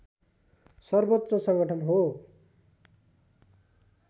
सर्वोच्च सङ्गठन हो